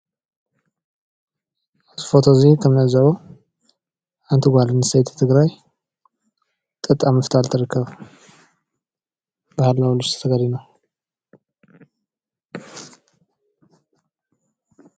እዚ ፎቶ እዚ ትርእይዎ ዘለኹም ሓንቲ ጓል ኣንስተይቲ ትግራይ ጡጥ ኣብ ምፍታል ትርከብ።